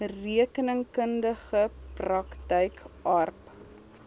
rekeningkundige praktyk aarp